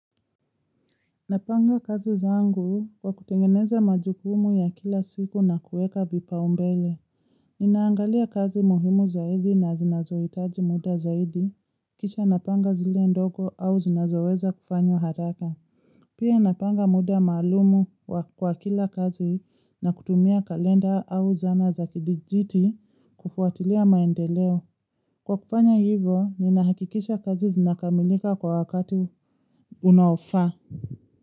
Napanga kazi zangu kwa kutengeneza majukumu ya kila siku na kuweka vipaumbele. Ninaangalia kazi muhimu zaidi na zinazohitaji muda zaidi. Kisha napanga zile ndogo au zinazoweza kufanywa haraka. Pia napanga muda maalumu kwa kila kazi na kutumia kalenda au zana za kidijiti kufuatilia maendeleo. Kwa kufanya hivo, ninahakikisha kazi zinakamilika kwa wakati unaofaa.